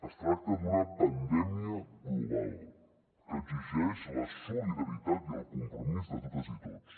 es tracta d’una pandèmia global que exigeix la solidaritat i el compromís de totes i tots